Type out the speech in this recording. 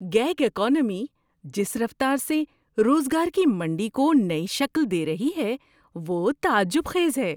Gig economy جس رفتار سے روزگار کی منڈی کو نئی شکل دے رہی ہے وہ تعجب خیز ہے۔